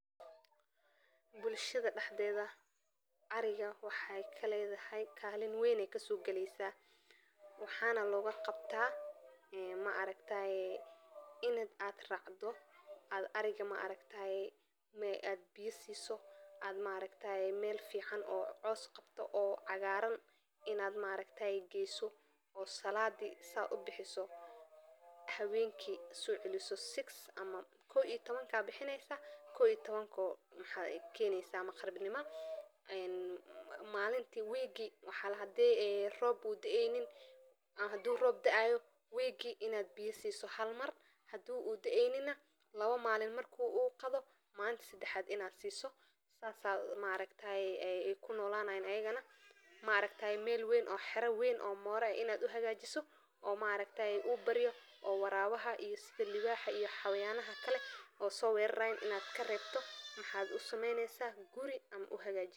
Bulshaada daxdedha, ariga waxey kaledahay kalin weyn ayey ka sogaleysa, waxana loga qabta in aad racdo, aad ariga ma aragtaye aad biya siso, oo ma aragtaye meel fican oo coos qabto oo cagaran in aad ma aragtaye geso, oo saladi saa u bixiso aad hawenki so celiso six, ama kow iyo tawanka bixineysa kow iyo tawankana oo maqrib nima ayaa keneysaa, ee malinti weegi maaragta hadi u rob daeynin ama rob u daayo, weegi in aad siso halmar biya, hadi u daeynina in aad lawa malin aad qadhiso, malinka sadaxaad aad siso, sas ee maaragtaye ee ku nolanayin iyagana, ma aragtaye meel weyn oo xera weyn ama mora weyn in aad u hagajiso, oo ma aragtaye u baryo baryo, oo ma aragtaye warawa iyo sitha liwaxa iyo xayawana kale oo so werarayin in aad karebto, maxaa u sameyneysa guri ama aad u hagajineysaa.